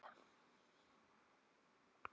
Við vonumst til að ástandið lagist.